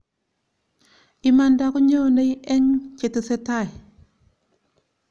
imanda konyonei eng chetesetai